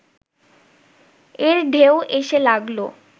এর ঢেউ এসে লাগল